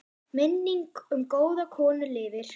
Minning um góða konu lifir.